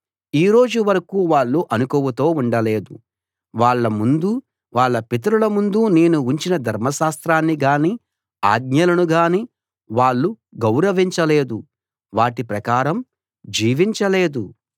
ఈ రోజు వరకూ వాళ్ళు అణకువతో ఉండలేదు వాళ్ళ ముందూ వాళ్ళ పితరుల ముందూ నేను ఉంచిన ధర్మశాస్త్రాన్నిగానీ ఆజ్ఞలనుగానీ వాళ్ళు గౌరవించలేదు వాటి ప్రకారం జీవించలేదు